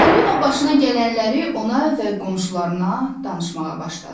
Çipəlinon başına gələnləri ona və qonşularına danışmağa başladı.